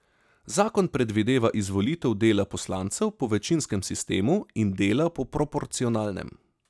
Zakon predvideva izvolitev dela poslancev po večinskem sistemu in dela po proporcionalnem.